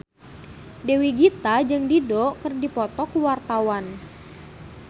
Dewi Gita jeung Dido keur dipoto ku wartawan